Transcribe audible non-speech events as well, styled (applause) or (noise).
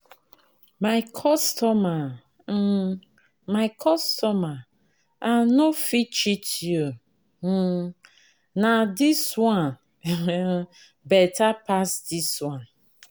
my customer my um my customer, I no fit cheat you nah, um this one (laughs) better pass this one.